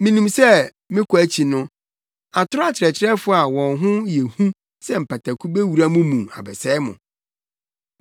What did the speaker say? Minim sɛ me kɔ akyi no, atoro akyerɛkyerɛfo a wɔn ho yɛ hu sɛ mpataku bewura mo mu abɛsɛe mo.